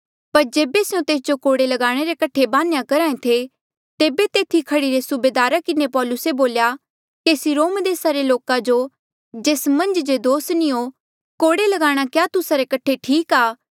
पर जेबे स्यों तेस जो कोड़े लगाणे रे कठे बान्हेया करहा ऐें थे तेबे तेथी खड़ीरे सूबेदारा किन्हें पौलुसे बोल्या केसी रोम देसा रे लोका जो जेस मन्झ जे दोस नी हो कोड़े ल्गाणा क्या तुस्सा रे कठे ठीक आ